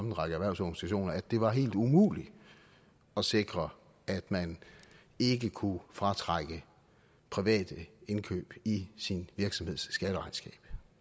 en række erhvervsorganisationer at det var helt umuligt at sikre at man ikke kunne fratrække private indkøb i sin virksomheds skatteregnskab